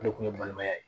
O de kun ye balimaya ye